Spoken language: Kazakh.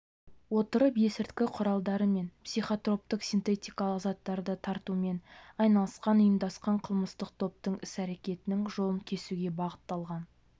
отырып есірткі құралдары мен психотроптық-синтетикалық заттарды таратумен айналысқан ұйымдасқан қылмыстық топтың іс-әрекетінің жолын кесуге бағытталған